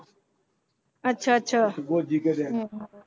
ਅੱਛਾ ਅੱਛਾ ਹਮ ਹਮ